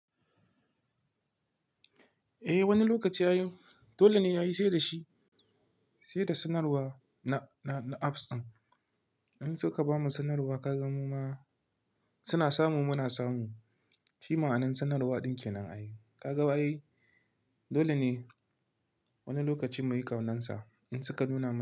Eh wani lokaci yayi, dole ne yayi sai da shi, sai da sanarwa na apps ɗin. In suka bamu sanarwa ka gan mu ma suna samu muna samu. Shi ma'anar sanarwa ɗin kenan ai. Ka ga ba yi? Dole ne wani lokaci muyi ƙaunansa in suka nuna mana.